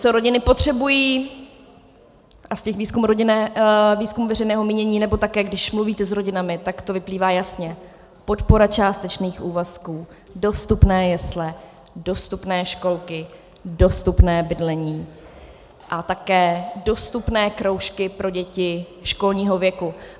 Co rodiny potřebují, a z těch výzkumů veřejného mínění, nebo také když mluvíte s rodinami, tak to vyplývá jasně: podpora částečných úvazků, dostupné jesle, dostupné školky, dostupné bydlení a také dostupné kroužky pro děti školního věku.